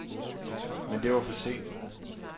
Men det var for sent.